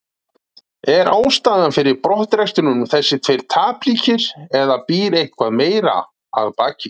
Er ástæðan fyrir brottrekstrinum þessir tveir tapleikir eða býr eitthvað meira að baki?